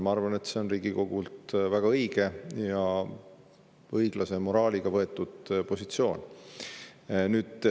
Ma arvan, et see on Riigikogul väga õige ja õiglase moraaliga võetud positsioon.